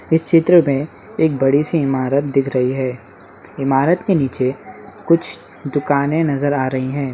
इस चित्र में एक बड़ी सी इमारत दिख रही है इमारत के नीचे कुछ दुकाने नजर आ रही हैं।